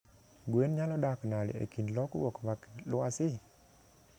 Gwen nyalo dak nade e kind lokuok mag lwasi?